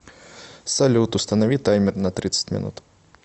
салют установи таймер на тридцать минут